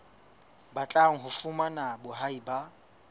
batlang ho fumana boahi ba